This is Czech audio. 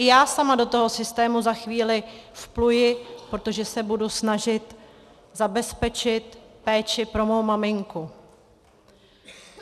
I já sama do toho systému za chvíli vpluji, protože se budu snažit zabezpečit péči pro mou maminku.